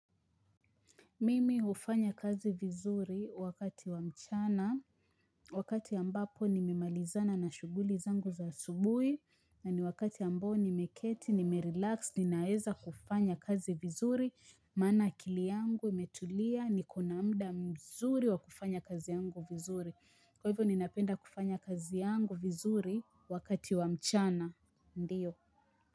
Mimi hufanya kazi vizuri wakati wa mchana, wakati ambapo nimemalizana na shughuli zangu za asubuhi, na ni wakati ambao nimeketi, nimerelax, ninaeza kufanya kazi vizuri, maana akili yangu imetulia, niko na muda mzuri wa kufanya kazi yangu vizuri. Kwa hivyo ninapenda kufanya kazi yangu vizuri wakati wa mchana, ndiyo.